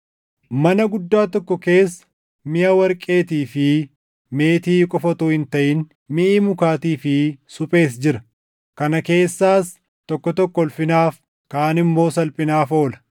Mana guddaa tokko keessa miʼa warqeetii fi meetii qofa utuu hin taʼin, miʼi mukaatii fi suphees jira; kana keessaas tokko tokko ulfinaaf, kaan immoo salphinaaf oola.